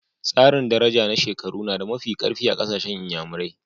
Tsarin daraja ta shekaru na da mafi karfi a kasashen n'yamarai.